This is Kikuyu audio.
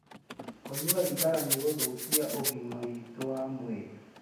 Kũnyua thigara nĩ gũthũkagia ũgima witũ wa mwĩrĩ.